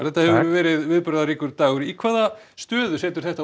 þetta hefur verið viðburðaríkur dagur í hvaða stöðu setur þetta